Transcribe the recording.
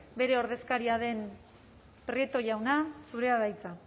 bere ordezkaria den prieto jauna zurea da hitza